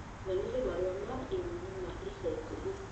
nyonie marũa ma i-mīrū ma ica ikuhĩ